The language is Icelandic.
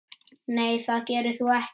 Nei það gerir þú ekki.